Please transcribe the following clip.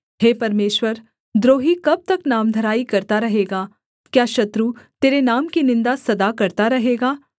हे परमेश्वर द्रोही कब तक नामधराई करता रहेगा क्या शत्रु तेरे नाम की निन्दा सदा करता रहेगा